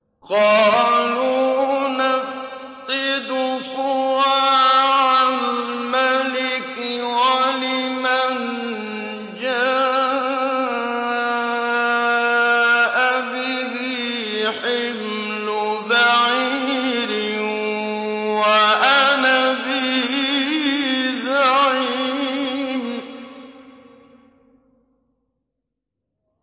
قَالُوا نَفْقِدُ صُوَاعَ الْمَلِكِ وَلِمَن جَاءَ بِهِ حِمْلُ بَعِيرٍ وَأَنَا بِهِ زَعِيمٌ